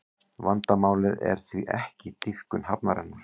Vandamálið er því ekki dýpkun hafnarinnar